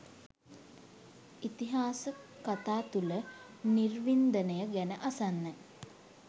ඉතිහාස කතා තුල නිර්වින්දනය ගැන අසන්න